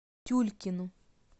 тюлькину